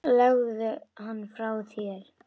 Legðu hann frá þér